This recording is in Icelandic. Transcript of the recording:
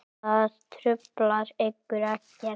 Og það truflar ykkur ekkert?